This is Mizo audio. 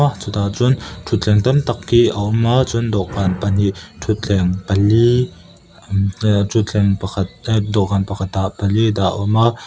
ah chutah chuan thuthleng tam tak hi a awm a chuan dawhkan pahnih thuthleng pali ah thuthleng pakhat ah dawhkan pakhat ah pali dah a awm a.